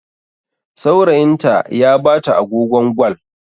Saurayinta ya bata agogon Gwal.